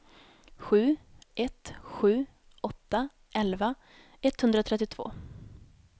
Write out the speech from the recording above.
sju ett sju åtta elva etthundratrettiotvå